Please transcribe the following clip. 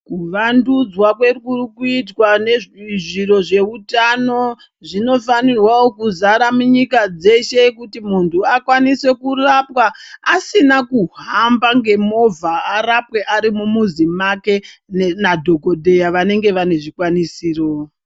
Kuvandudzwa kwe kuri kuitwa nezviro zveutano zvinofanirawo kuzara munyika dzeshe kuti muntu akwanise kurapwa asina kuhamba ngemovha arapwe ari mumuzi make nadhokodheya vanenge vane zvikwanisiro .